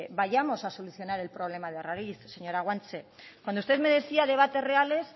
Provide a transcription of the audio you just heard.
vayamos a solucionar el problema de raíz señora guanche cuando usted me decía debates reales